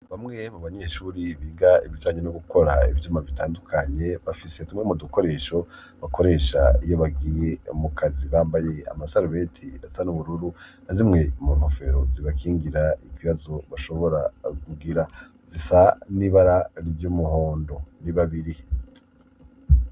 Bamwe mu banyeshuri biga ibijanye no gukora ibyuma bitandukanye bafise tumwe mu dukoresho bakoresha iyo bagiye mu kazi. Bambaye amasarubeti asa n'ubururu na zimwe mu nkofero zibakingira ikibibazo bashobora gugira zisa n'ibara ry'umuhondo ni babiri.